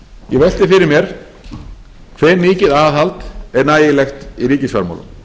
ég velti fyrir mér hve mikið aðhald er nægilegt í ríkisfjármálum